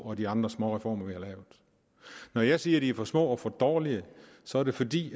og de andre småreformer vi har lavet når jeg siger at de er for små og for dårlige så er det fordi